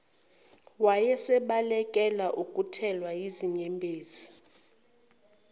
wayesebalekela ukuthelwa yizinyembezi